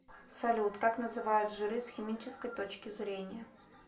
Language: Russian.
салют как называют жиры с химической точки зрения